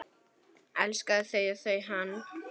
Elskaði þau og þau hann.